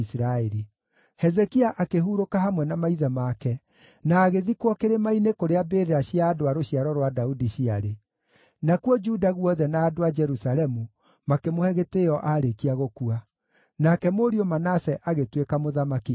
Hezekia akĩhurũka hamwe na maithe make na agĩthikwo kĩrĩma-inĩ kũrĩa mbĩrĩra cia andũ a rũciaro rwa Daudi ciarĩ. Nakuo Juda guothe na andũ a Jerusalemu makĩmũhe gĩtĩĩo aarĩkia gũkua. Nake mũriũ Manase agĩtuĩka mũthamaki ithenya rĩake.